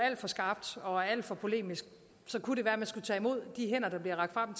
alt for skarpt og er alt for polemisk kunne det være at man skulle tage imod de hænder der bliver rakt frem